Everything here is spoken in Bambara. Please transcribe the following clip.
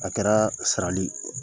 A kɛra sarali